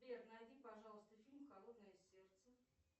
сбер найди пожалуйста фильм холодное сердце